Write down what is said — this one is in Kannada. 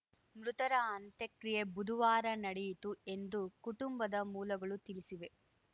ಮೃತರ ಅಂತ್ಯಕ್ರಿಯೆ ಬುದುವಾರ ನಡೆಯಿತು ಎಂದು ಕುಟುಂಬದ ಮೂಲಗಳು ತಿಳಿಸಿವೆ